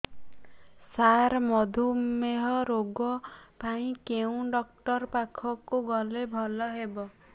ସାର ମଧୁମେହ ରୋଗ ପାଇଁ କେଉଁ ଡକ୍ଟର ପାଖକୁ ଗଲେ ଭଲ ହେବ